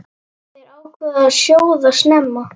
Þær ákváðu að sjóða snemma.